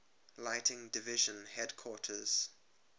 lighting division headquarters